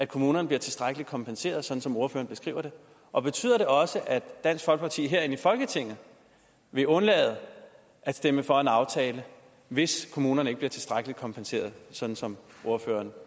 kommunerne bliver tilstrækkeligt kompenseret sådan som ordføreren beskriver det og betyder det også at dansk folkeparti herinde i folketinget vil undlade at stemme for en aftale hvis kommunerne ikke bliver tilstrækkeligt kompenseret sådan som ordføreren